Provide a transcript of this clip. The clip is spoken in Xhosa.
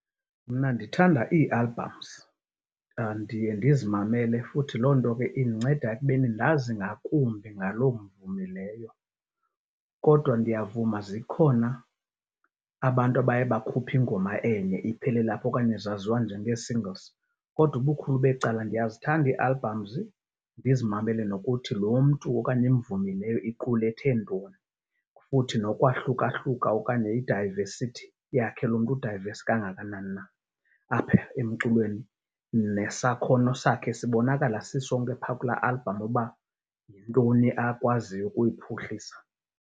Mna ndithanda ii-albums. Ndiye ndizimamele futhi loo nto ke indinceda ekubeni ndazi ngakumbi ngaloo mvumi leyo. Kodwa ndiyavuma zikhona abantu abaye bakhuphe ingoma enye iphelele apho okanye zaziwa njengee-singles. Kodwa ubukhulu becala ndiyazithanda ii-albums, ndizimamele nokuthi lo mntu okanye imvumi leyo iqulethe ntoni futhi nokwahlukahluka okanye i-diversity yakhe loo mntu, u-diverse kangakanani na apha emculweni. Nesakhono sakhe sibonakala sisonke phaa kulaa album uba yintoni akwaziyo ukuyiphuhlisa.